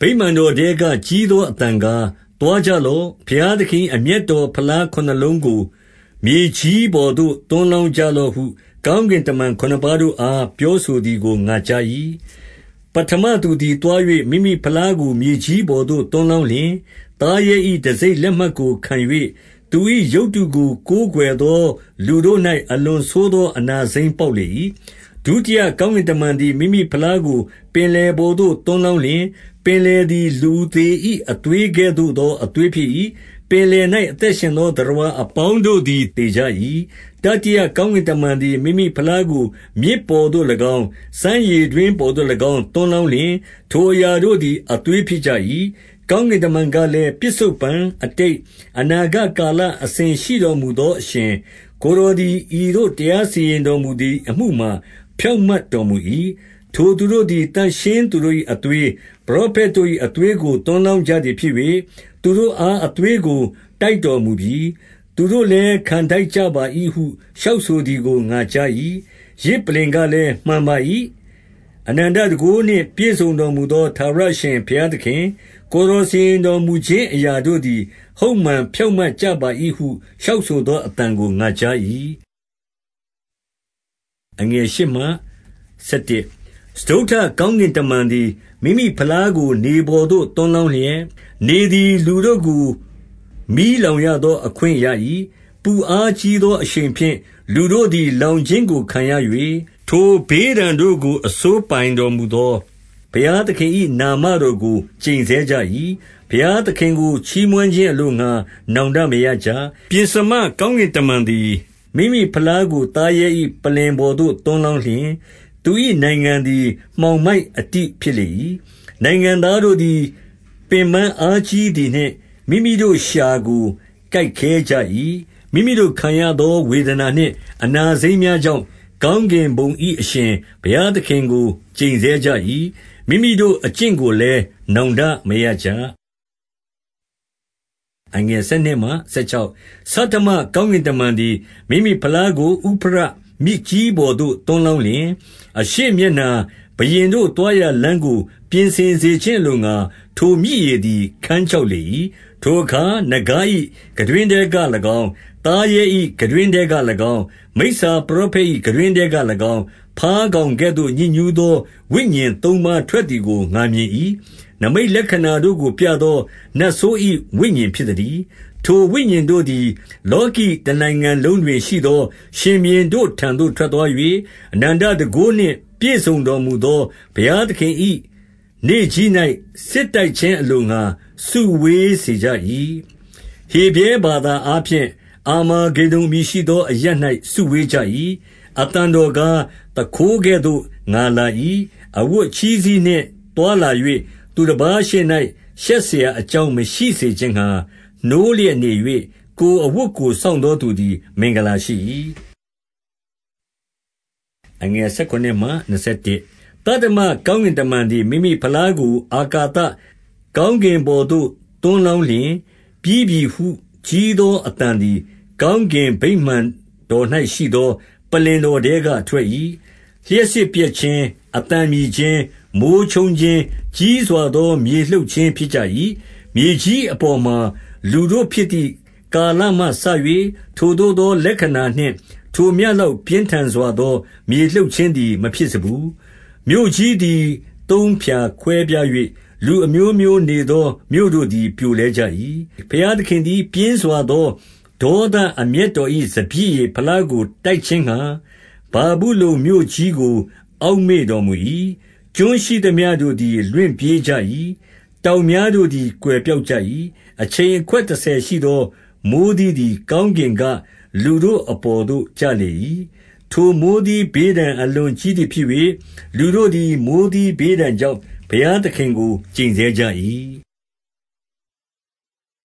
ဗိမာန်တော်ထဲက ကြီးသောအသံကား၊ သွားကြလော့။ ဘုရားသခင်၏ အမျက်တော် ဖလားခုနစ်လုံးကို မြေကြီးပေါ်သို့ သွန်းလောင်းကြလော့ဟု ကောင်းကင်တမန် ခုနစ်ပါးတို့အား ပြောဆိုသည်ကို ငါကြား၏။ ပဋ္ဌမသူသည် သွား၍မိမိဖလားကို မြေကြီးပေါ်သို့ သွန်းလောင်းလျှင်၊ သားရဲ၏တံဆိပ်လက်မှတ်ကို ခံ၍ သူ၏ရုပ်တုကို ကိုးကွယ်သော လူတို့၌ အလွန်ဆိုးသော အနာစိမ်းပေါက်လေ၏။ ဒုတိယကောင်းကင်တမန်သည် မိမိဖလားကို ပင်လယ်ပေါ်သို့ သွန်းလောင်းလျှင်၊ ပင်လယ်သည် လူသေ၏ အသွေးကဲ့သို့သော အသွေးဖြစ်၏။ ပင်လယ်၌ အသက်ရှင်သော သတ္တဝါအပေါင်းတို့သည် သေကြ၏။ တတိယကောင်းကင်တမန်သည် မိမိဖလားကို မြစ်ပေါ်သို့၎င်း၊ စမ်းရေတွင်းပေါ်သို့၎င်း သွန်းလောင်း လျှင် ထိုအရာတို့သည် အသွေးဖြစ်ကြ၏။ ကောင်းကင်တမန်ကလည်း၊ ပစ္စုပ္ပန်၊ အတိတ်၊ အနာဂတ်ကာလ အစဉ်ရှိတော်မူသော အရှင်၊ ကိုယ်တော် သည် ဤသို့ တရားစီရင်တော်မူသည်အမှုမှာ ဖြောင့်မတ် တော်မူ၏။ ထိုသူတို့သည် သန့်ရှင်းသူတို့၏ အသွေး၊ ပရောဖက်တို့၏ အသွေးကို သွန်းလောင်းကြသည်ဖြစ်၍၊ သူတို့အား အသွေးကို တိုက်တော်မူပြီ။ သူတို့လည်း ခံထိုက်ကြပါ၏ဟု လျှောက်ဆိုသည်ကို ငါကြား၏။ ယဇ်ပလ္လင်ကလည်း၊ မှန်ပါ၏။ အနန္တတန်ခိုးနှင့် ပြည့်စုံတော်မူသော ထာဝရအရှင်ဘုရားသခင်၊ ကိုယ် တော်စီရင်တော်မူခြင်း အရာတို့သည် ဟုတ်မှန်ဖြောင့်မတ် ကြပါ၏ဟု လျှောက်ဆိုသောအသံကို ငါကြား၏။ စတုတ္ထကောင်းကင်တမန်သည် မိမိဖလားကို နေပေါ်သို့ သွန်းလောင်းလျှင်၊ နေသည်လူတို့ကို မီးလောင် ရသော အခွင့်ကိုရ၏။ ပူအားကြီးသောအရှိန်ဖြင့် လူတို့သည် လောင်ခြင်းကိုခံရ၍၊ ထိုဘေးဒဏ်တို့ကို အစိုးပိုင်တော်မူသော ဘုရားသခင်၏ နာမတော်ကို ကျိန်ဆဲကြ၏။ ဘုရားသခင်ကို ချီးမွမ်းခြင်းအလိုငှါ နောင်တမရကြ။ ပဥ္စမကောင်းကင်တမန်သည် မိမိဖလားကို သားရဲ၏ ပလ္လင်ပေါ်သို့ သွန်းလောင်းလျှင်၊ သူ၏နိုင်ငံ သည် မှောင်မိုက်အတိဖြစ်လေ၏။ နိုင်ငံသားတို့သည် ပင်ပန်းအားကြီးသည်နှင့် မိမိတို့လျှာကို ကိုက်ခဲကြ၏။ မိမိတို့ခံရသော ဝေဒနာနှင့် အနာစိမ်းများကြောင့် ကောင်းကင်ဘုံ၏ အရှင်ဘုရားသခင်ကို ကျိန်ဆဲ ကြ၏။ မိမိတို့အကျင့်ကိုလည်း နောင်တမရကြ။ ဆဋ္ဌမကောင်းကင်တမန်သည် မိမိဖလားကို ဥဖရတ်မြစ်ကြီးပေါ်သို့ သွန်းလောင်းလျှင်၊ အရှေ့ မျက်နှာဘုရင်တို့ သွားရာလမ်းကို ပြင်ဆင်စေခြင်းအလိုငှါ ထိုမြစ်ရေသည် ခန်းခြောက်လေ၏။ ထိုအခါ၊ နဂါး၏ခံတွင်းထဲက၎င်း၊ သားရဲ၏ ခံတွင်းထဲက၎င်း၊ မိစ္ဆာပရောဖက်၏ ခံတွင်းထဲက၎င်း၊ ဘားကောင်ကဲ့သို့ ညစ်ညူးသော ဝိညာဉ်သုံးပါးထွက်သည် ကို ငါမြင်၏။ နိမိတ်လက္ခဏာတို့ကိုပြသော နတ်ဆိုး၏ ဝိညာဉ်ဖြစ်သတည်း။ ထိုဝိညာဉ်တို့သည် လောကီ တနိုင်ငံ လုံးတွင်ရှိသော ရှင်ဘုရင်တို့ထံသို့ ထွက်သွား၍ အနန္တတန်ခိုးနှင့် ပြည့်စုံတော်မူသော ဘုရားသခင်၏ နေ့ကြီး၌ စစ်တိုက်ခြင်းအလိုငှါ စုဝေးစေကြ၏။ ဟေဗြဲဘာသာအားဖြင့် အာမေဂေဒုန် အမည်ရှိသောအရပ်၌ စုဝေးစေကြ၏။ အသံတော်ကား၊ သူခိုးကဲ့သို့ ငါလာ၏။ အဝတ် အချည်းစည်းနှင့် သွားလာ၍ သူတပါးရှေ့၌ ရှက်စရာ အကြောင်း မရှိစေခြင်းငှါ နိုးလျက်နေ၍၊ ကိုယ်အဝတ်ကို စောင့်သောသူသည် မင်္ဂလာရှိ၏။ သတ္တမကောင်းကင်တမန်သည် မိမိဖလားကို အာကသကောင်းကင်ပေါ်သို့ သွန်းလောင်းလျှင်၊ ပြီး ပြီဟု ကြီးသောအသံသည် ကောင်းကင်ဗိမာန်တော်၌ ရှိသော ပလ္လင်တော်ထဲက ထွက်၏။ လျှပ်စစ်ပြတ်ခြင်း၊ အသံမြည်ခြင်း၊ မိုဃ်းချုန်းခြင်း၊ ကြီးစွာသော မြေလှုပ်ခြင်းဖြစ်ကြ၏။ မြေကြီး အပေါ်မှာ လူတို့ဖြစ်သည့် ကာလမှစ၍ ထိုသို့သော လက္ခဏာနှင့် ထိုမျှလောက် ပြင်းထန်စွာသော မြေလှုပ် ခြင်းသည်မဖြစ်စဖူး။ မြို့ကြီးသည်သုံးဖြာကွဲပြား၍ လူအမျိုးမျိုးနေသော မြို့တို့သည် ပြိုလဲကြ၏။ ဘုရားသခင်သည် ပြင်းစွာသော ဒေါသအမျက်တော်၏ စပျစ်ရည်ဖလားကို တိုက်ခြင်းငှါ ဗာဗုလုန်မြို့ကြီးကို အောက်မေ့တော်မူ၏။ ကျွန်းရှိသမျှတို့သည် လွင့်ပြေးကြ၏။ တောင်များတို့သည် ကွယ်ပျောက်ကြ၏။ အချိန်အခွက်တဆယ်ရှိသော မိုဃ်းသီးသည် ကောင်းကင်က လူတို့အပေါ်သို့ ကျလေ၏။ ထိုမိုဃ်းသီးဘေးဒဏ် အလွန်ကြီးသည်ဖြစ်၍၊ လူတို့သည် မိုဃ်းသီးဘေးဒဏ်ကြောင့် ဘုရားသခင်ကို ကျိန်ဆဲကြ၏။